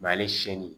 ale se ni